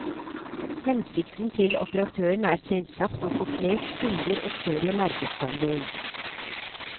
Hensikten til operatøren er selvsagt å få flest kunder og større markedsandel.